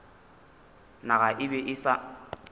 naga e be e sa